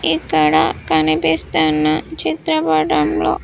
ఇక్కడ కనిపిస్తున్న చిత్రపటంలో.